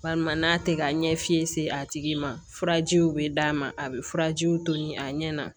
Walima n'a tɛ ka ɲɛfiɲɛ se a tigi ma furajiw bɛ d'a ma a bɛ furajiw toli a ɲɛ na